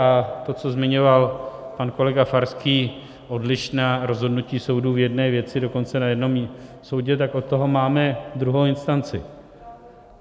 A to, co zmiňoval pak kolega Farský, odlišná rozhodnutí soudu v jedné věci dokonce na jednom soudě, tak od toho máme druhou instanci.